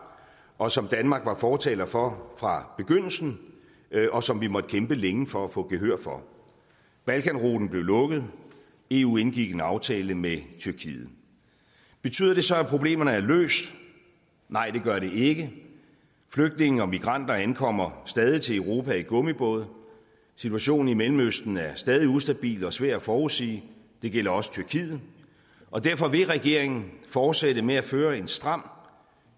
og som danmark var fortaler for fra begyndelsen og som vi måtte kæmpe længe for at få gehør for balkanruten blev lukket eu indgik en aftale med tyrkiet betyder det så at problemerne er løst nej det gør det ikke flygtninge og migranter ankommer stadig til europa i gummibåde situationen i mellemøsten er stadig ustabil og svær at forudsige det gælder også tyrkiet og derfor vil regeringen fortsætte med at føre en stram